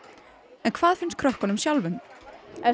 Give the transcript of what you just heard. en hvað finnst krökkunum sjálfum